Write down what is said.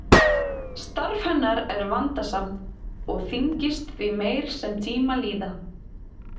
Starf hennar er vandasamt og þyngist því meir sem tíma líða.